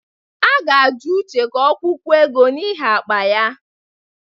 A ga-ajụ Uche ka ọ kwụọkwu ego n'ihi akpa ya.